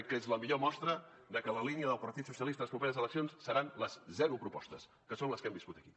que la línia del partit socialista a les properes eleccions seran les zero propostes que són les que hem viscut aquí